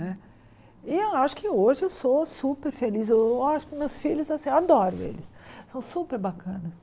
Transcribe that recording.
Né e eu acho que hoje eu sou super feliz, eu eu acho que meus filhos, eu adoro eles, são super bacanas.